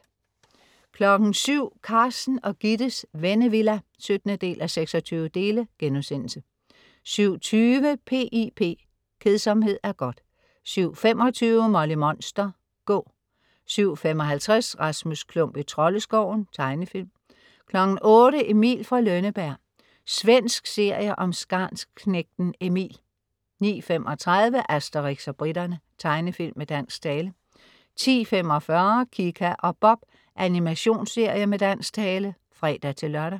07.00 Carsten og Gittes Vennevilla 17:26* 07.20 P.I.P. Kedsomhed er godt! 07.25 Molly Monster. Gå! 07.55 Rasmus Klump i Troldeskoven. Tegnefilm 08.00 Emil fra Lønneberg. Svensk serie om skarnsknægten Emil 09.35 Asterix og briterne. Tegnefilm med dansk tale 10.45 Kika og Bob. Animationsserie med dansk tale (fre-lør)